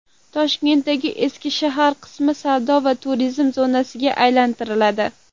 Toshkentning eski shahar qismi savdo va turizm zonasiga aylantiriladi.